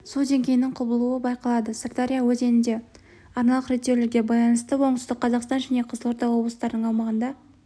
су деңгейінің құбылуы байқалады сырдария өзенінде арналық реттеулерге байланысты оңтүстік қазақстан және қызылорда облыстарының аумағында